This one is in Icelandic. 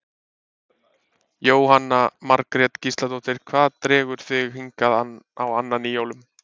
Jóhanna Margrét Gísladóttir: Hvað dregur þig hingað á annan í jólum?